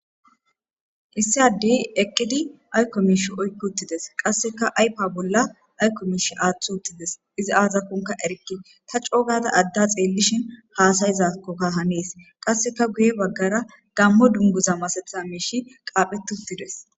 Issi adeyi eqqidi ayikko mishshe oyikki uttides.qasekka ayifa bolla aththi uttides .izzi azakokon erikke taa gada adaa xeelishinn hasayizakoka Hanes.qasekka guye bagara Gamo duniguza masatiza mishshi qaphphetti uttides.